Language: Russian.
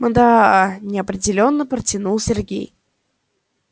мда неопределённо протянул сергей